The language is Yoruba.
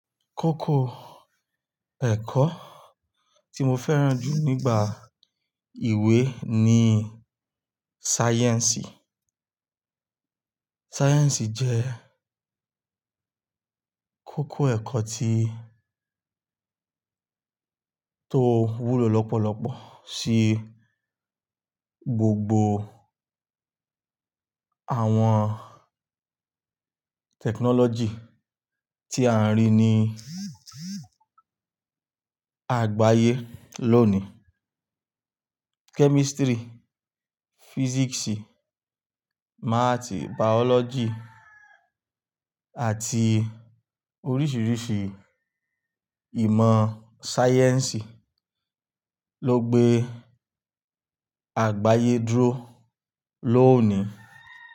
Kókó ẹ̀kọ́ tí mo fẹ́ràn jù nígbà ìwé ni sáyẹ̀nsì. Sáyẹ̀nsì jẹ́ kókó ẹ̀kọ́ tí tó wúlò lọ́pọ̀lọpọ̀ sí gbogbo àwọn tẹkinọ́lọ́jì tí a ń rí ní àgbáyé lónìí. Kẹ́mísítírì, físíìsì, máàtì, bàọ́lọ́jì àti oríṣiiríṣii ìmọ̀ sáyẹ́nsì ló gbé àgbáyé dúró lónìí.